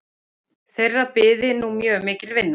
Þeirra byði nú mjög mikil vinna